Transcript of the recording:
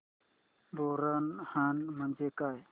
बोरनहाण म्हणजे काय